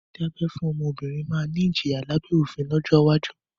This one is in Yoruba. Dídá abẹ́ fún ọmọbìnrin máa ni ìjìyà lábẹ́ òfin lọ́jọ́ iwájú